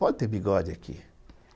Pode ter bigode aqui.